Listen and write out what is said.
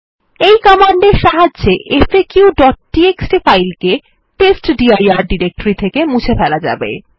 এই কমান্ডের সাহায্যে faqটিএক্সটি ফাইল কে টেস্টডির ডিরেক্টরি থেকে মুছে ফেলা যাবে